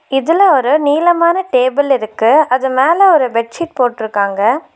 இதுல ஒரு நீளமான டேபிள் இருக்கு அது மேல ஒரு பெட் ஷீட் போட்ருக்காங்க.